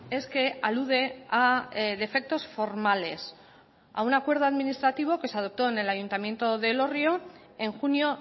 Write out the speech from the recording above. es que alude a defectos formales a un acuerdo administrativo que se adoptó en el ayuntamiento de elorrio en junio